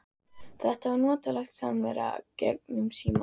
Þetta var notaleg samvera gegnum símann.